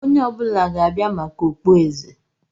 Onye ọ bụla ga-abịa maka okpueze!